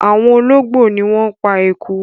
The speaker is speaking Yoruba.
Awon ologbo ni won pa eku